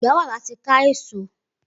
Igbà wà làtí kà ésó